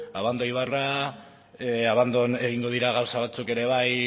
abando ibarra abandon egingo dira gauza batzuk ere bai